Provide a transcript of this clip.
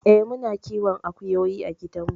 Eh muna kiwon akuyoyi a gidan mu.